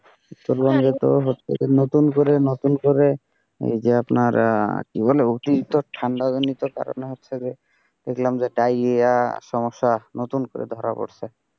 সম্বন্ধিত হচ্ছে যে নতুন করে, নতুন করে এই যে আপনার কি বলে আপনার অতিরিক্ত ঠান্ডা জনিত কারণে হচ্ছে যে দেখলাম যে ডায়রিয়া সমস্যা নতুন করে ধরা পড়ছে।